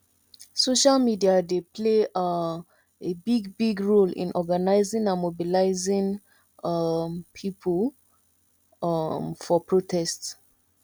social media dey play um a big big role in organizing and mobilizing um people um for protest